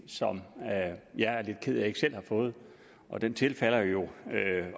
som jeg er lidt ked af at jeg ikke selv har fået og den tilfalder jo